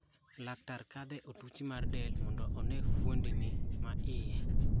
Laktar kadhe e otuchi mar del mondo one fuondni ma iye.